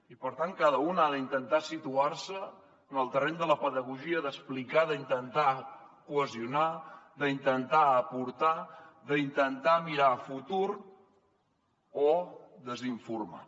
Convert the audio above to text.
i per tant cada un ha d’intentar situar se en el terreny de la pedagogia d’explicar d’intentar cohesionar d’intentar aportar d’intentar mirar a futur o de desinformar